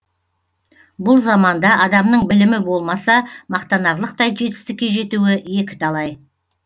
бұл заманда адамның білімі болмаса мақтанарлықтай жетістікке жетуі екі талай